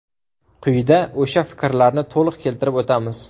Quyida o‘sha fikrlarni to‘liq keltirib o‘tamiz.